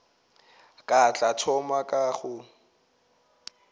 ke tla thoma ka go